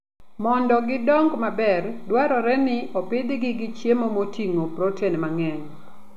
Mondo gidong maber, dwarore ni opidhgi gi chiemo moting'o protein mang'eny.